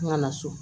N kana so